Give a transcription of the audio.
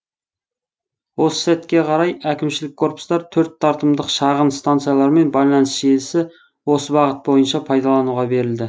осы сәтке қарай әкімшілік корпустар төрт тартымдық шағын станциялар мен байланыс желісі осы бағыт бойынша пайдалануға берілді